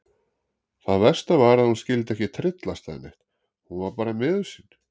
Það versta var að hún skyldi ekki tryllast eða neitt, hún var bara miður sín.